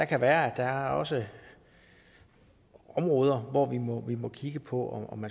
kan være at der også er områder hvor man må må kigge på om